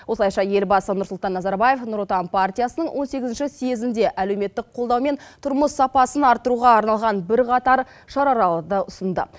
осылайша елбасы нұрсұлтан назарбаев нұр отан партиясының он сегізінші съезінде әлеуметтік қолдаумен тұрмыс сапасын арттыруға арналған бірқатар шараларды ұсынды